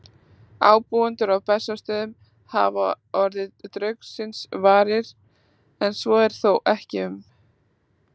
Ábúendur á Bessastöðum hafa orðið draugsins varir, en svo er þó ekki um